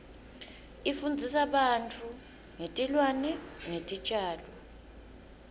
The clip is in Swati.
ifundzisa ngebantfu tilwane netitjalo